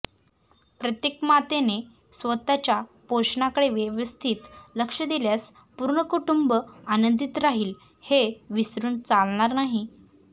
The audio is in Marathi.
प्रत्येक मातेने स्वतःच्या पोषणाकडे व्यवस्थित लक्ष दिल्यास पूर्ण कुटुंब आनंदित राहील हे विसरून चालणार नाही